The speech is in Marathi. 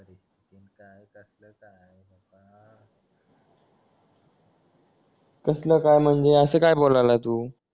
कसलं काय म्हणजे असं का बोलायला तू